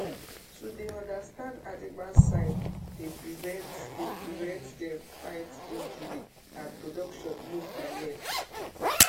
to dey understand animal sign dey prevent dey prevent dem fight injury and production no go well